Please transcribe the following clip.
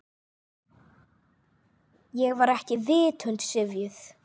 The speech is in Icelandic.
Ég var ekki vitund syfjuð.